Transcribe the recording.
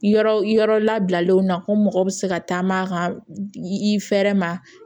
Yɔrɔ labilalenw na ko mɔgɔ bɛ se ka taama ka i fɛɛrɛ ma